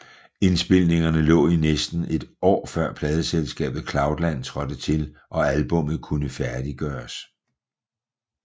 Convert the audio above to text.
Indspilningerne lå i næsten et år før pladeselskabet Cloudland trådte til og albummet kunne færdiggøres